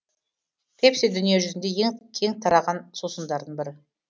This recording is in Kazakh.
пепси дүние жүзіне ең кең тараған сусындардың бірі